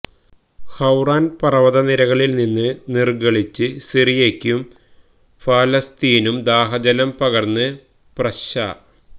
ഹൌറാന് പര്വതനിരകളില്നിന്ന് നിര്ഗളിച്ച് സിറിയക്കും ഫലസ്ത്വീന്നും ദാഹജലം പകര്ന്ന് പ്രശാ